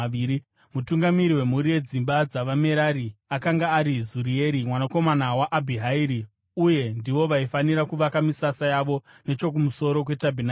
Mutungamiri wemhuri yedzimba dzavaMerari akanga ari Zurieri mwanakomana waAbhihairi; uye ndivo vaifanira kuvaka misasa yavo nechokumusoro kwetabhenakeri.